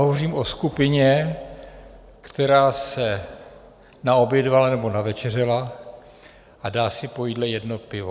Hovořím o skupině, která se naobědvala nebo navečeřela a dá si po jídle jedno pivo.